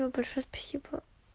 большое спасибо